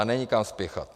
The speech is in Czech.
A není kam spěchat.